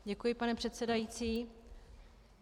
Děkuji, pane předsedající.